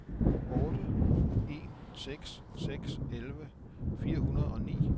otte en seks seks elleve fire hundrede og ni